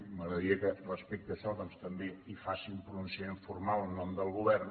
m’agradaria que respecte a això doncs també faci un pronunciament formal en nom del govern